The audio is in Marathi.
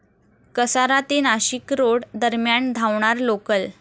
कसारा ते नाशिकरोड दरम्यान धावणार लोकल